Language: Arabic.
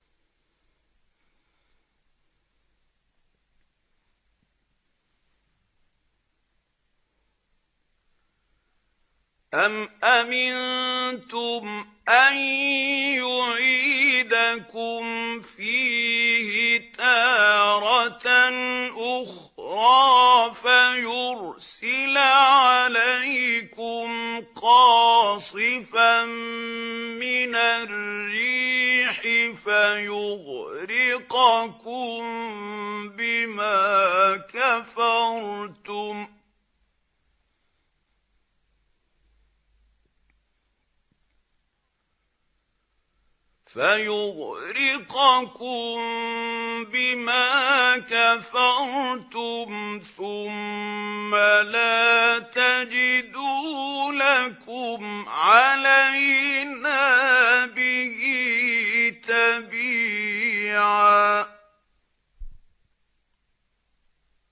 أَمْ أَمِنتُمْ أَن يُعِيدَكُمْ فِيهِ تَارَةً أُخْرَىٰ فَيُرْسِلَ عَلَيْكُمْ قَاصِفًا مِّنَ الرِّيحِ فَيُغْرِقَكُم بِمَا كَفَرْتُمْ ۙ ثُمَّ لَا تَجِدُوا لَكُمْ عَلَيْنَا بِهِ تَبِيعًا